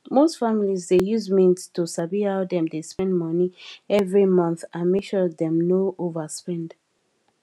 most families dey use mint to sabi how dem dey spend money every month and make sure dem no overspend